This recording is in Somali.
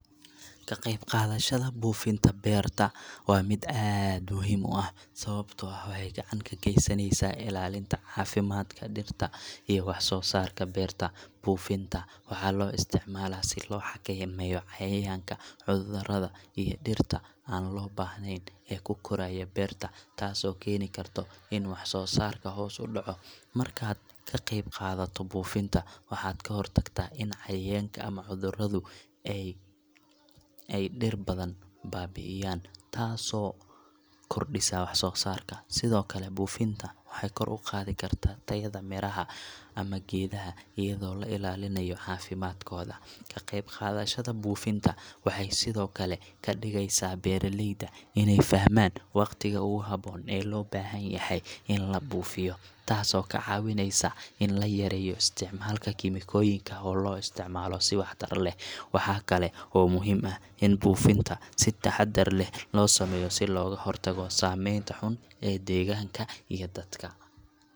Marka aan arko ciid loogu talagalay beerista, waxa aan maskaxdayda ku soo dhacaya waa muhiimadda ciidda ee koritaanka dhirta. Ciidda wanaagsan waa saldhigga ugu muhiimsan ee geedaha iyo dhirta si ay si caafimaad leh ugu koraan. Haddii ciidda ay tahay mid nadiif ah, bacrin leh, oo leh qiyaasta wanaagsan ee biyaha iyo hawo, waxay si fiican uga caawin kartaa dhirta inay helaan nafaqooyinka ay u baahan yihiin. Waxa kale oo muhiim ah in ciidda lagu daro walxo kale sida compost ama bacriminta si ay u noqoto mid miro dhal ah. Markasta oo aan arko ciid beerta loogu talagalay, waxaan ka fikiraa sida ay muhiim u tahay in la hubiyo in ciidda aysan noqon mid aad u qoyaane ama aad u qalalan, maxaa yeelay labadaba waxay saameyn ku yeelan karaan koritaanka dhirta. Haddii ciidda si wanaagsan loo diyaariyo, waxay ka caawin kartaa dhirta inay gaadho heerar sare oo wax-soo-saar iyo caafimaad.